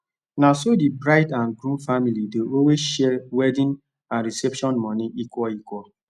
naso the bride and groom family dey always share wedding and reception money equal equal